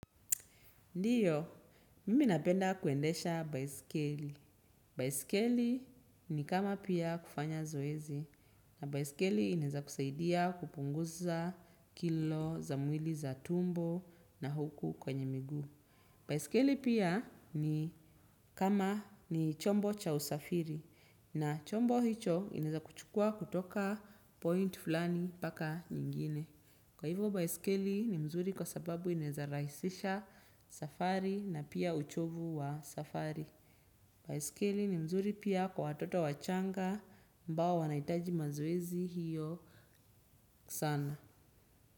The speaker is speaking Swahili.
Ndio, mimi napenda kuendesha baiskeli. Baisikeli ni kama pia kufanya zoezi. Na baisikeli inaweza kusaidia kupunguza kilo za mwili za tumbo na huku kwenye miguu. Baiskeli pia ni kama ni chombo cha usafiri. Na chombo hicho kinaeza kuchukua kutoka point fulani mpaka nyingine. Kwa hivyo baisikeli ni mzuri kwa sababu inaweza rahisisha safari na pia uchovu wa safari. Baiskeli ni mzuri pia kwa watoto wachanga ambao wanahitaji mazoezi hiyo sana.